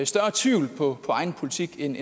større tvivl på egen politik end